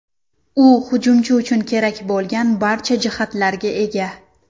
U hujumchi uchun kerak bo‘lgan barcha jihatlarga ega.